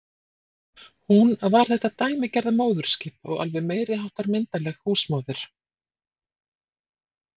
Hún var þetta dæmigerða móðurskip og alveg meiriháttar myndarleg húsmóðir.